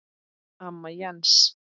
Amma Jens.